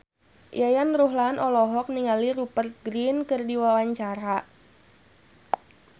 Yayan Ruhlan olohok ningali Rupert Grin keur diwawancara